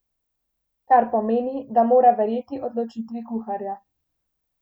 Kar pomeni, da mora verjeti odločitvi kuharja.